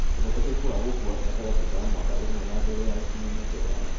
Ũhotekeku wa gũkua gatagatĩ ka mwaka ũmwe na mbere ya gũkinyia mĩaka ĩtano